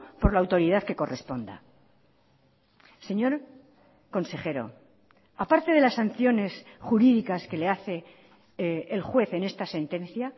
por la autoridad que corresponda señor consejero aparte de las sanciones jurídicas que le hace el juez en esta sentencia